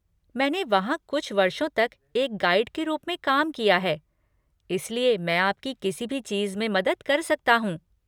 मैंने वहाँ कुछ वर्षों तक एक गाइड के रूप में काम किया है, इसलिए मैं आपकी किसी भी चीज़ में मदद कर सकता हूँ।